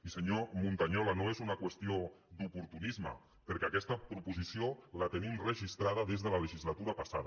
i senyor montañola no és una qüestió d’oportunisme perquè aquesta proposició la tenim registrada des de la legislatura passada